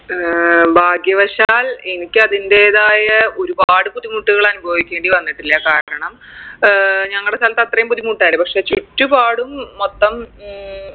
ഏർ ഭാഗ്യവശാൽ എനിക്ക് അതിൻറെതായ ഒരുപാട് ബുദ്ധിമുട്ടുകൾ അനുഭവിക്കേണ്ടി വന്നിട്ടില്ല കാരണം ഏർ ഞങ്ങടെ സ്ഥലത്ത് അത്രയും ബുദ്ധിമുട്ടായില്ല പക്ഷെ ചുറ്റുപാടും മൊത്തം ഉം